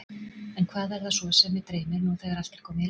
En hvað er það svo sem mig dreymir, nú þegar allt er komið í lag?